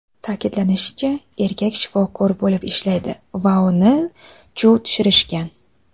Ta’kidlanishicha, erkak shifokor bo‘lib ishlaydi va uni chuv tushirishgan.